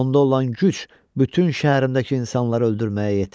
Onda olan güc bütün şəhərimdəki insanları öldürməyə yetər.